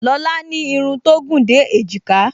Lọlá ní irun tó gùn dé èjìká